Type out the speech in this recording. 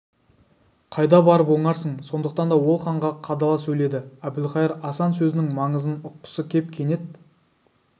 қайда барып оңарсың сондықтан да ол ханға қадала сөйледі әбілқайыр асан сөзінің маңызын ұққысы кеп кенет